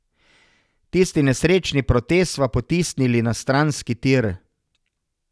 Tisti nesrečni protest sva potisnili na stranski tir.